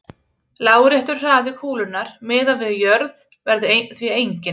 Láréttur hraði kúlunnar miðað við jörð verður því enginn.